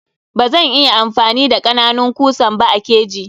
Bazan iya amfani da kananun kusan ba a keji.